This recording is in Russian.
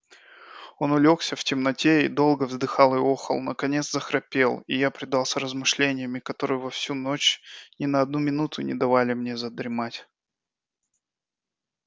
он улёгся в темноте и долго вздыхал и охал наконец захрапел а я предался размышлениям и которые во всю ночь ни на одну минуту не дали мне задремать